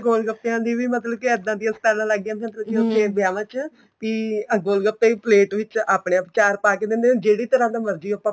ਗੋਲ ਗੱਪਿਆ ਦੀ ਮਤਲਬ ਕੇ ਇੱਦਾ ਦੀਆ ਸਟਾਲਾਂ ਲੱਗ ਗਈਆਂ ਮਤਲਬ ਕੇ ਵਿਆਵਾਂ ਚ ਵੀ ਆ ਗੋਲ ਗੱਪਿਆ ਦੀ plate ਵਿੱਚ ਆਪਣੇ ਆਪ ਚਾਰ ਪਾ ਕੇ ਦਿੰਦੇ ਹਨ ਜਿਹੜੀ ਤਰ੍ਹਾਂ ਦਾ ਮਰਜੀ ਆਪਾਂ